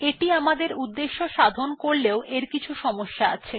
এটি আমাদের উদ্দেশ্য সাধন করলেও এর কিছু সমস্যা আছে